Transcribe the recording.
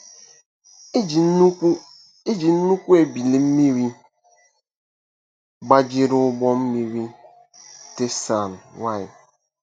Eji nnukwu Eji nnukwu ebili mmiri gbajiri ụgbọ mmiri Teisan-Y.